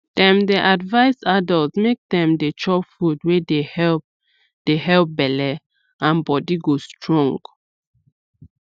dem dey advise adults make dem dey chop food wey dey help dey help belle and body go strong